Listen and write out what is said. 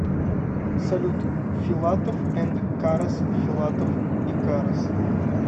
салют филатов энд карас филатов и карас